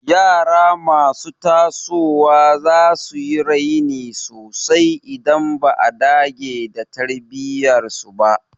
Yara masu tasowa za su yi raini sosai idan ba a dage da tarbiyyar su ba.